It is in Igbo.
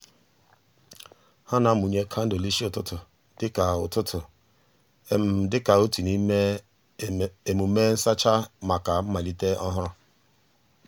ha na-amụnye kandụl n'isi ụtụtụ dịka ụtụtụ dịka otu n'ime emume nsacha maka mmalite ọhụrụ.